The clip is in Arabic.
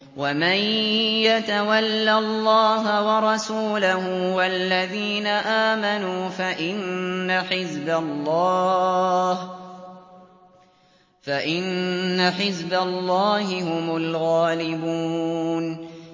وَمَن يَتَوَلَّ اللَّهَ وَرَسُولَهُ وَالَّذِينَ آمَنُوا فَإِنَّ حِزْبَ اللَّهِ هُمُ الْغَالِبُونَ